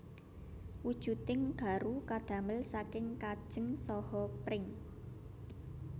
Wujuding garu kadamel saking kajeng saha pring